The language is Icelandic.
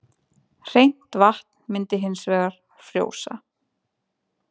Hreint vatn myndi hins vegar frjósa.